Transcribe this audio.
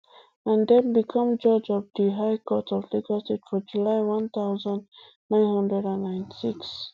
and den become judge of di di high court of lagos state for july one thousand, nine hundred and ninety-six